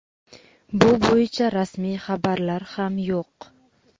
bu bo‘yicha rasmiy xabarlar ham yo‘q.